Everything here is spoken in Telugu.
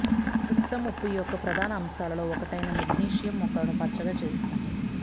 ఎప్సమ్ ఉప్పు యొక్క ప్రధాన అంశాలలో ఒకటైన మెగ్నీషియం మొక్కలను పచ్చగా చేస్తుంది